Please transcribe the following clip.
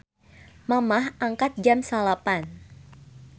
Mamah angkat jam 09.00